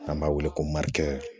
N'an b'a wele ko marike